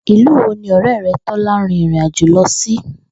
Ìlú wo ni ò̩ré̩ re̩ Tó̩lá rin ìrìnàjò lo̩ sí?